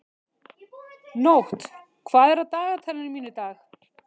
Nótt, hvað er á dagatalinu mínu í dag?